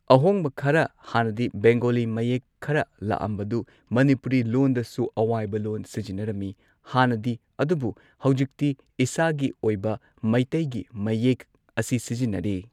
ꯑꯍꯣꯡꯕ ꯈꯔ ꯍꯥꯟꯅꯗꯤ ꯕꯦꯡꯒꯣꯂꯤ ꯃꯌꯦꯛ ꯈꯔ ꯂꯥꯛꯑꯝꯕꯗꯨ ꯃꯅꯤꯄꯨꯔꯤ ꯂꯣꯟꯗꯁꯨ ꯑꯋꯥꯏꯕ ꯂꯣꯟ ꯁꯤꯖꯤꯟꯅꯔꯝꯃꯤ ꯍꯥꯟꯅꯗꯤ ꯑꯗꯨꯕꯨ ꯍꯧꯖꯤꯛꯇꯤ ꯏꯁꯥꯒꯤ ꯑꯣꯏꯕ ꯃꯩꯇꯩꯒꯤ ꯃꯌꯦꯛ ꯑꯁꯤ ꯁꯤꯖꯤꯟꯅꯔꯦ꯫